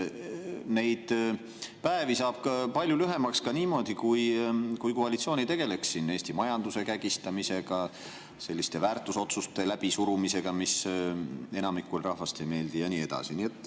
Neid päevi saaks palju lühemaks ka niimoodi, kui koalitsioon ei tegeleks Eesti majanduse kägistamisega, selliste väärtusotsuste läbisurumisega, mis enamikule rahvast ei meeldi, ja nii edasi.